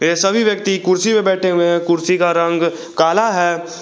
ये सभी व्यक्ति कुर्सी में बैठे हुए हैं कुर्सी का रंग काला है।